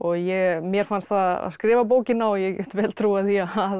mér fannst það að skrifa bókina og ég get vel trúað því